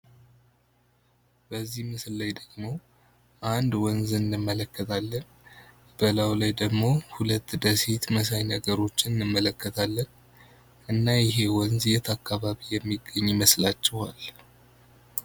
በዚህ ምስል ላይ ደግሞ አንድ ወንዝ እንመለከታለን። በላዩ ላይ ደግሞ ሁለት ደሴት መሰል ነገሮችን እንመለከታለን። እና ይሄ ወንዝ የት አካባቢ የሚገኝ ይመስላችኋል?